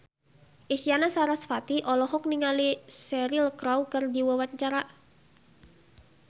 Isyana Sarasvati olohok ningali Cheryl Crow keur diwawancara